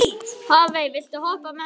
Hafey, viltu hoppa með mér?